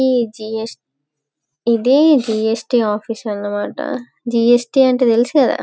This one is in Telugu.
ఈ జిస్టు ఇది జిస్ట్ ఆఫీస్ అన్న మాట జిస్ట్ అంటే తెలుసుకదా.